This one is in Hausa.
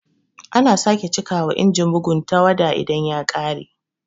Ana sake cika wa Inajin bugu tawada idan ta ƙare